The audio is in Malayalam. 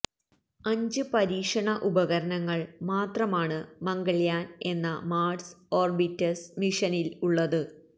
അഞ്ച് പരീക്ഷണ ഉപകരണങ്ങള് മാത്രമാണ് മംഗള്യാന് എന്ന മാര്സ് ഓര്ബിറ്റര് മിഷനില് ഉള്ളത്